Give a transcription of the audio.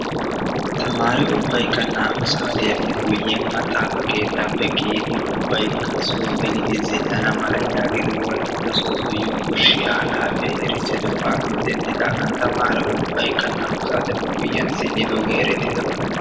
Tamaare ubbaykka naa''u saatiyappe guyyiyaan maxaaafa keettappe kiyidi ubbaykka soo gelidi zin''ana mala yaagidi Wolaytta Sooddo Yunbburshshiyaa halaafe erissidoogappe denddidaagan tamaare ubbaykka naa''u saateppe guyyiyan zim''idooge eretidabaa.